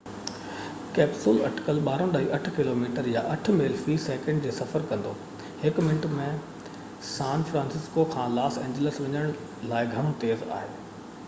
capsule اٽڪل 12.8 kilometre يا 8 mile في سيڪنڊ جو سفر ڪندو هڪ منٽ ۾ سان فرانسسڪو کان لاس اينجلس وڃڻ لاءِ گهڻو تيز آهي